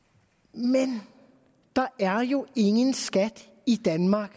men der er jo i danmark